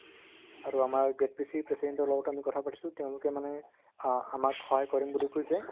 আৰু আমাৰ president ৰ লগতো আমি কথাপাতিছো তেওঁলোকে মানে অ আমাক সহায় কৰিম বুলি কৈছে